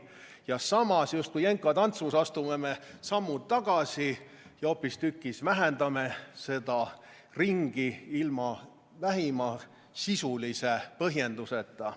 Ja samas me justkui jenka tantsus astume sammu tagasi ja hoopistükkis vähendame seda ringi ilma vähimagi sisulise põhjenduseta.